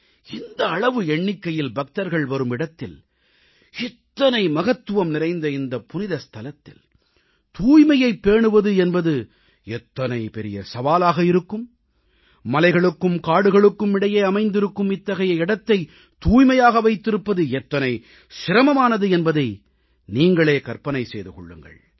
இந்த அளவு எண்ணிக்கையில் பக்தர்கள் வரும் இடத்தில் இத்தனை மகத்துவம் நிறைந்த இந்த புனிதத் தலத்தில் தூய்மையைப் பேணுவது என்பது எத்தனை பெரிய சவாலாக இருக்கும் மலைகளுக்கும் காடுகளுக்கும் இடையே அமைந்திருக்கும் இத்தகைய இடத்தைத் தூய்மையாக வைத்திருப்பது எத்தனை சிரமமானது என்பதை நீங்களே கற்பனை செய்து கொள்ளுங்கள்